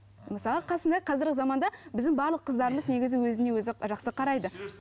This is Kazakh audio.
мысалы қасында қазіргі заманда біздің барлық қыздарымыз негізі өзіне өзі жақсы қарайды